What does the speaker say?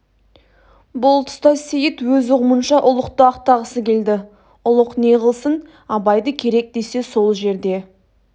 бұл тұста сейіт өз ұғымынша ұлықты ақтағысы келді ұлық не қылсын абайды керек десе сол жерде